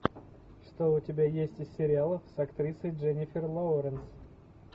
что у тебя есть из сериалов с актрисой дженнифер лоуренс